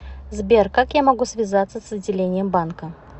сбер как я могу связаться с отделением банка